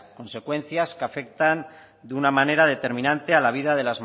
consecuencias que afectan de una manera determinante a la vida